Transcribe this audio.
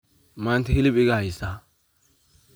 Manta xilib igahaysa.